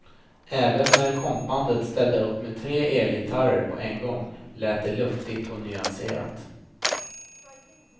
Även när kompbandet ställer upp med tre elgitarrer på en gång låter det luftigt och nyanserat.